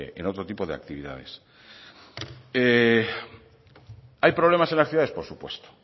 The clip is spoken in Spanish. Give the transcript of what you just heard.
en otro tipo de actividades hay problemas en las ciudades por supuesto